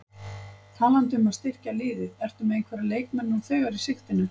Talandi um að styrkja liðið, ertu með einhverja leikmenn nú þegar í sigtinu?